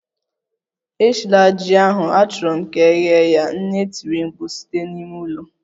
Eshila ji ahu! Achọrọ m ka e ghee ya, nne tiri mkpu site na ime ụlọ